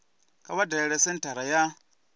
kha vha dalele senthara ya